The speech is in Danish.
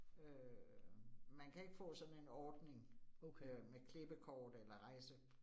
Øh man kan ikke få sådan en ordning øh med klippekort eller rejse